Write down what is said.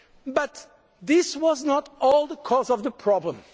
well. But this was not the whole cause of the problem.